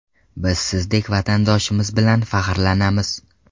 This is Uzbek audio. Biz sizdek vatandoshimiz bilan faxrlanamiz!